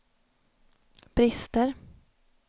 brister